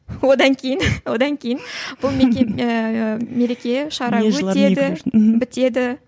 одан кейін одан кейін бұл ыыы мереке шара өтеді бітеді